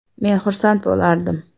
Men xursand bo‘lardim”.